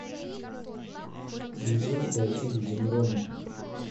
видео дайте людям рому